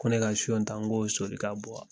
Ko ne ka son ta n ko o son de ka bon wa.